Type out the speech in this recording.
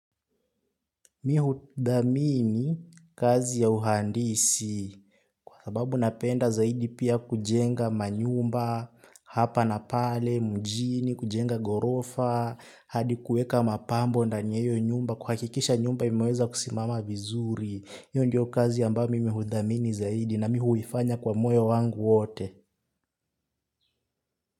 Mimi hudhamini kazi ya uhandisi kwa sababu napenda zaidi pia kujenga manyumba hapa na pale mjini kujenga ghorofa hadi kuweka mapambo ndani ya hiyo nyumba kuhakikisha nyumba imeweza kusimama vizuri. Hiyo ndio kazi ambayo mimi hudhamini zaidi na mimi huifanya kwa moyo wangu wote.